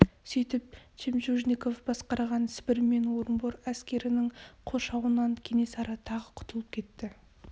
сөйтіп жемчужников басқарған сібір мен орынбор әскерінің қоршауынан кенесары тағы құтылып кетті